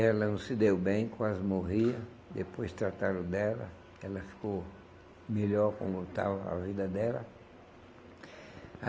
Ela não se deu bem, quase morria, depois trataram dela, ela ficou melhor como estava a vida dela.